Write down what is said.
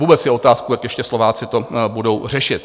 Vůbec je otázkou, jak ještě Slováci to budou řešit.